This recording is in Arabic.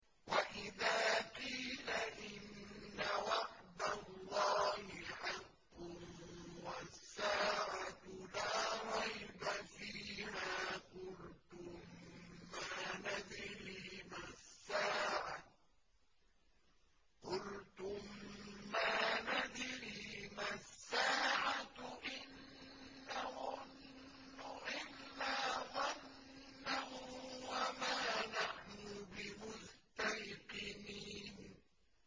وَإِذَا قِيلَ إِنَّ وَعْدَ اللَّهِ حَقٌّ وَالسَّاعَةُ لَا رَيْبَ فِيهَا قُلْتُم مَّا نَدْرِي مَا السَّاعَةُ إِن نَّظُنُّ إِلَّا ظَنًّا وَمَا نَحْنُ بِمُسْتَيْقِنِينَ